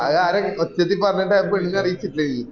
അ ആരെന് ഒച്ചത്തിൽ പറഞ്ഞിട്ട് ആ പെണ്ണിനെ അറിയിച്ചില്ലേ ഇഞ്